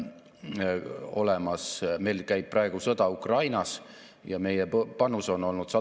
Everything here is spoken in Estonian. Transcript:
Olen optimistlik, sest meil on igas Eesti maakonnas ettevõtteid, kes on innovaatilised ja tegutsevad väga erinevates valdkondades.